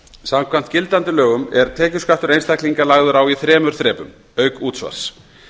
samkvæmt gildandi lögum er tekjuskattur einstaklinga lagður á í þremur þrepum auk útsvars